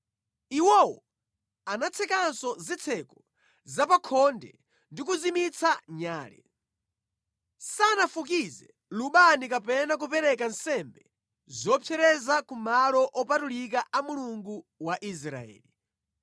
Iwowo anatsekanso zitseko zapakhonde ndi kuzimitsa nyale. Sanafukize lubani kapena kupereka nsembe zopsereza ku malo opatulika a Mulungu wa Israeli.